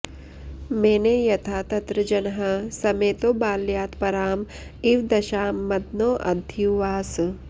मेने यथा तत्र जनः समेतो बाल्यात्परां इव दशां मदनोऽध्युवास